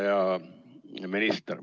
Hea minister!